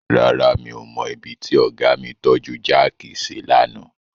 Rárá, mi ò mọ ibi tí ọ̀gá mi tọ́ju jáàkì sí lánàá.